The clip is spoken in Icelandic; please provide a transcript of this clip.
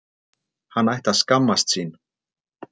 Hann ætti að skammast sín!